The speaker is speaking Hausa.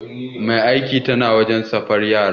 Mai aiki tana wanke safar yara